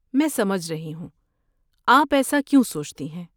میں سمجھ رہی ہو۔ آپ ایسا کیوں سوچتی ہیں؟